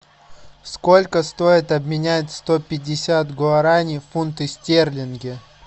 сколько стоит обменять сто пятьдесят гуарани в фунты стерлинги